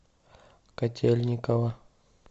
котельниково